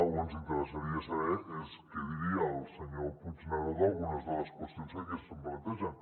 o ens interessaria saber què diria el senyor puigneró d’algunes de les qüestions que aquí es plantegen